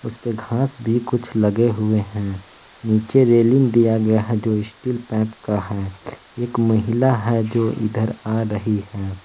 इसपे घास भी कुछ लगे हुए हैं निचे रेलिंग दिया गया है जो स्टील पाइप का है एक महिला है जो इधर आ रही है।